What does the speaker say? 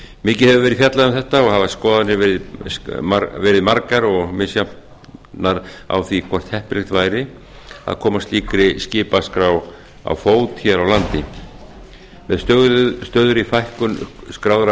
mikið hefur verið fjallað um þetta og hafa skoðanir verið margar og misjafnar á því hvort heppilegt væri að koma slíkri skipaskrá á fót hér á landi með stöðugri fækkun skráðra